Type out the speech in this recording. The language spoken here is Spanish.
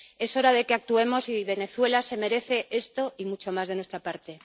Es hora de que actuemos, y Venezuela se merece esto y mucho más de nuestra parte.